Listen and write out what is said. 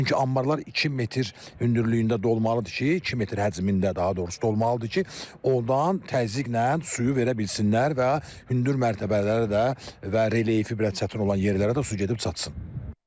Çünki anbarlar iki metr hündürlüyündə dolmalıdır ki, iki metr həcmində daha doğrusu dolmalıdır ki, ordan təzyiqlə suyu verə bilsinlər və hündür mərtəbələrə də və relyefi biraz çətin olan yerlərə də su gedib çatsın.